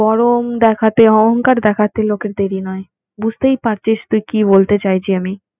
বুঝতেই পারছিস তুই কি বলতে চাইছি আমি